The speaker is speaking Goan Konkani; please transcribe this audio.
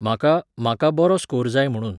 म्हाका, म्हाका बरो स्कोर जाय म्हुणून.